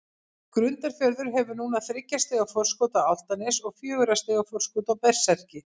Grundarfjörður hefur núna þriggja stiga forskot á Álftanes og fjögurra stiga forskot á Berserki.